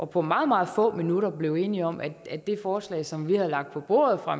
på meget meget få minutter blev enige om at at det forslag som vi havde lagt på bordet og